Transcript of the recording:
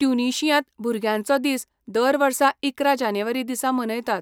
ट्युनिशियांत भुरग्यांचो दीस दर वर्सा इकरा जानेवारी दिसा मनयतात.